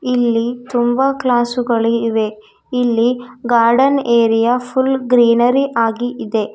ಇಲ್ಲಿ ತುಂಬಾ ಕ್ಲಾಸು ಗಳು ಇವೆ ಇಲ್ಲಿ ಗಾರ್ಡನ್ ಏರಿಯಾ ಫುಲ್ ಗ್ರೀನರಿ ಆಗಿ ಇದೆ.